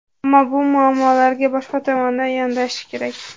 Ammo bu muammoga boshqa tomondan yondashish kerak.